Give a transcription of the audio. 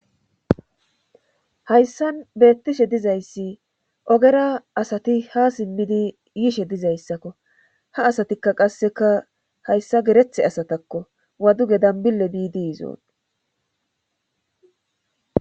Hayssan beettishe dizayssi ogera asati ha simmidi yishe dizayssakko ha asatikka qasseka hayssa gerethe asatakko waduge dambille biidi izoon